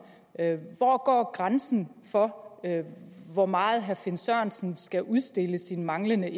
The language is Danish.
hvor går grænsen for hvor meget herre finn sørensen skal udstille sin manglende